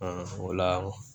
o la